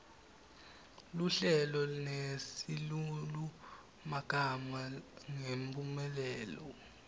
luhlelo nesilulumagama ngemphumelelo